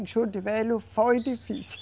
Em Juruti Velho foi difícil.